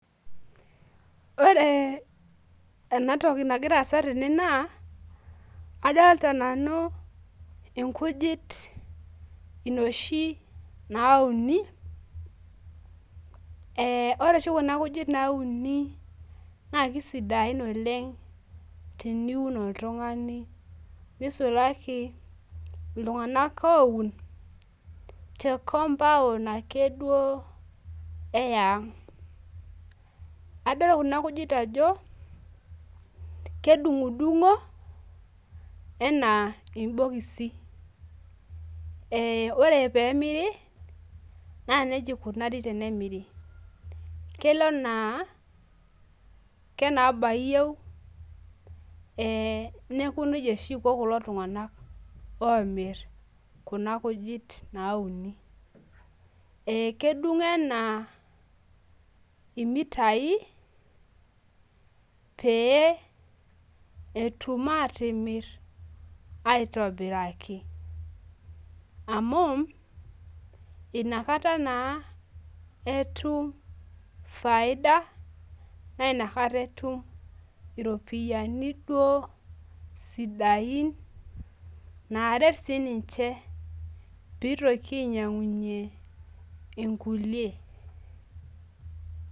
Ore enatoki nagira aasa tene naa, adolta nanu inkujit inoshi nauni, eh ore oshi kuna kujit nauni naa kisidain oleng tiniun oltung'ani. Nisulaki, iltung'anak oun te compound ake duo eyang'. Adol kuna kujit ajo, kedung'udung'o, enaa ibokisi. Ore pemiri, na nejia ikunari tenemiri. Kelo enaa kenabaa iyieu, neeku nejia oshi iko kulo tung'anak omir kuna kujit nauni. Kedung' enaa imitai, pee etum atimir aitobiraki. Amu, inakata naa etum faida, na inakata etum iropiyiani duo sidain naret sininche pitoki ainyang'unye inkulie.